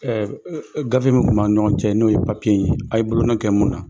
gafe min tun bɛ an ni ɲɔgɔn cɛ n'o ye papiye in ye a bolonƆ kɛ mun na,